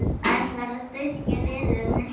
Ætlarðu að styrkja liðið mikið?